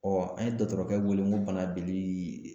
Ɔ an ye dɔgɔtɔrɔkɛ wele ko bana